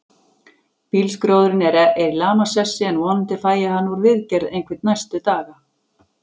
Bílskrjóðurinn er í lamasessi, en vonandi fæ ég hann úr viðgerð einhvern næstu daga.